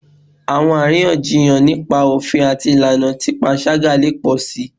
Awọn ariyanjiyan nipa ofin ati ilana ti panṣaga le pọ si